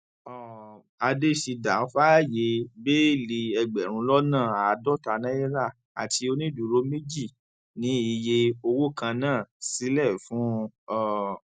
um àdéṣídà fààyè bẹẹlí ẹgbẹrún lọnà àádọta náírà àti onídùúró méjì ni iye owó kan náà sílẹ fún un um